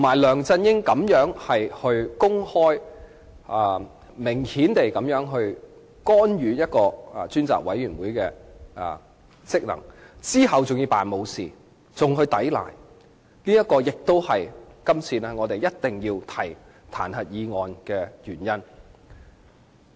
梁振英公然干預專責委員會的職能，其後還裝作若無其事和作出抵賴，也是我們必須提出這項彈劾議案的原因。